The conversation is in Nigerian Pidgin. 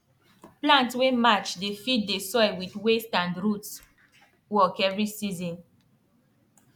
plant wey match dey feed the soil with waste and root work every season